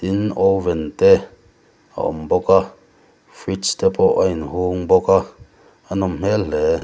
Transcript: tin oven te a awm bawk a fridge te pawh a inhung bawk a a nawm hmel hle.